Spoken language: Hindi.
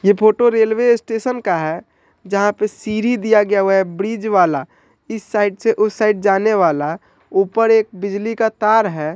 ये फोटो रेलवे स्टेशन का है जहाँ पे सीढ़ी दिया गया हुआ है ब्रिज वाला इस साइड से उस साइड जाने वाला ऊपर एक बिजली का तार है।